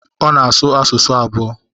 Ọ na-asụ asụsụ abụọ.